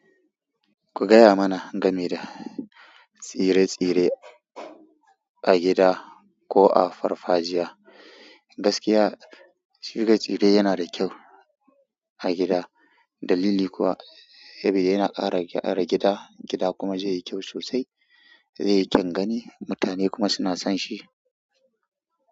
Ku gaya mana game da tsire-tsire a gida ko a farfajiya. Gaskiya tsire-tsire yana da kyau a gida dalili kuwa saboda yana ƙara kyara gida, gida kuma zayi kyeu sosai zaiyi kyeun gani mutane kuma suna sonshi.